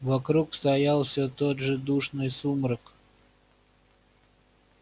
вокруг стоял все тот же душный сумрак